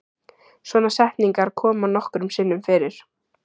Svona setningar koma nokkrum sinnum fyrir.